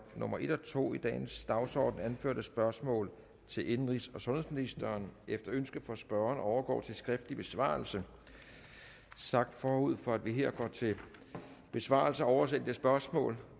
nummer en og to i dagens dagsorden anførte spørgsmål til indenrigs og sundhedsministeren efter ønske fra spørgeren overgår til skriftlig besvarelse sagt forud for at vi her går til besvarelse af oversendte spørgsmål